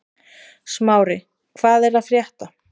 Smári, hvað er að frétta?